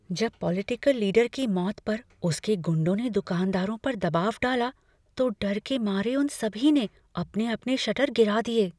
जब political leader की मौत पर उसके गुंडों ने दुकानदारों पर दबाव डाला तो डर के मारे उन सभी ने अपने अपने शटर गिरा दिए।